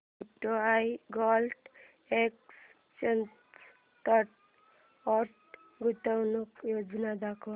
UTI gold exchange traded fund गुंतवणूक योजना दाखव